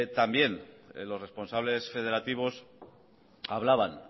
también los responsables federativos hablaban